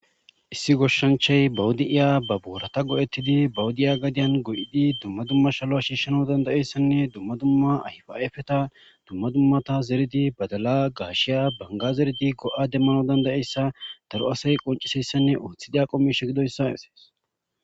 Issi goshshanchay bawudi7iya ba boorata go7ettidi bawudi7ya gadiyan go7idi dumma dumma shalo shiishsheno dandayeyssanne dumma dumma ayfa7efeta dumma dummata zeridi badala gaashiya banga zeredi go7a demmano dandayeyssa daro asay qonciseyssanne ooththida qo mishe gidoyssa asees.